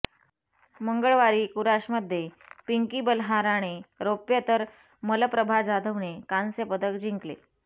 मंगळवारी कुराशमध्ये पिंकी बलहाराने रौप्य तर मलप्रभा जाधवने कांस्य जिंकले होते